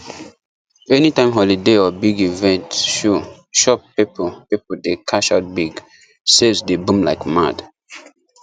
anytime holiday or big event show shop people people dey cash out big sales dey boom like mad